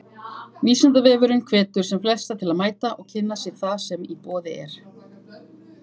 Vísindavefurinn hvetur sem flesta til að mæta og kynna sér það sem í boði er.